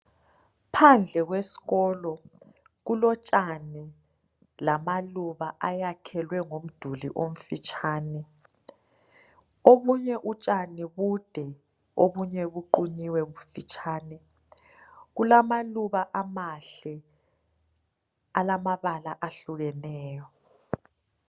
Phandle kwesikolo kulotshani lamaluba ayakhelwe ngomduli omfitshane, obunye utshani bude obunye buqunyiwe bufitshane. Kulamaluba amahle alamabala ahlukeneyo.